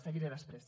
seguiré després